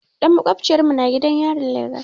Ɗan maƙociyar mu na gidan yarin Legas.